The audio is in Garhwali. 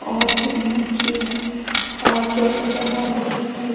और फिर मनखी हाथ जोडन लग्याँ माता जी थे।